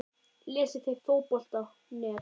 Lesið þið Fótbolti.net?